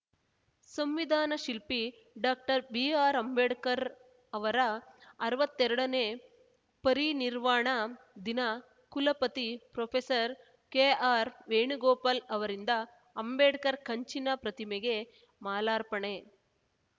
ಸಂವಿಧಾನ ಶಿಲ್ಪಿ doctor B R Ambedkar ಅವರ ಅರ್ವತ್ತೆರಡನೇ ಪರಿನಿರ್ವಾಣ ದಿನ ಕುಲಪತಿ ಪ್ರೊಫೆಸರ್ ಕೆಆರ್‌ ವೇಣುಗೋಪಾಲ್‌ ಅವರಿಂದ ಅಂಬೇಡ್ಕರ್‌ ಕಂಚಿನ ಪ್ರತಿಮೆಗೆ ಮಾಲಾರ್ಪಣೆ